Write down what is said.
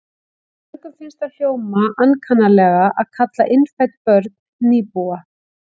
Mörgum finnst það hljóma ankannalega að kalla innfædd börn nýbúa.